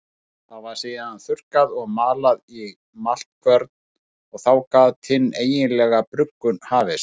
Það var síðan þurrkað og malað í maltkvörn og þá gat hin eiginlega bruggun hafist.